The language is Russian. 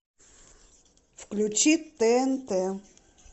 включи тнт